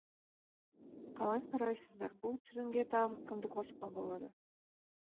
қалай қарайсыздар бұл тізімге тағы кімді қосуға болады